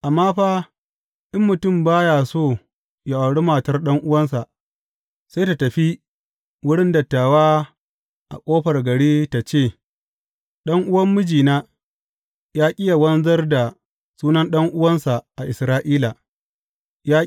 Amma fa, in mutum ba ya so yă auri matar ɗan’uwansa, sai tă tafi wurin dattawa a ƙofar gari tă ce, Ɗan’uwan mijina ya ƙi yă wanzar da sunan ɗan’uwansa a Isra’ila.